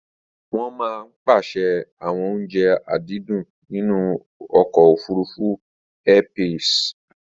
wọ́n maá ń pèsè àwọn oúnje àdídùn nínú ọkọ̀ òfurufú Airpeace